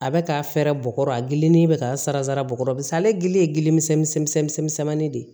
A bɛ ka fɛɛrɛ bɔgɔ a gili ni bɛ ka sara bukɔrɔ misɛn ale gili ye gili misɛnmanin de ye